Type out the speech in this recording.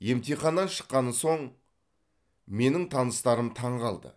емтиханнан шыққаны соң менің таныстарым таңғалды